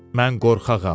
Mən qorxağam.